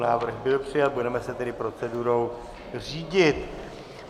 Návrh byl přijat, budeme se tedy procedurou řídit.